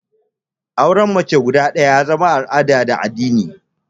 Auran mata fiye da ɗaya ya zama al'ada da addini